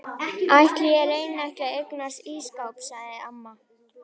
Ætli ég reyni ekki að eignast ísskáp sagði amma.